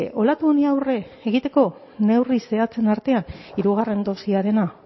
olatu honi aurre egiteko neurri zehatzen artean hirugarren dosiarena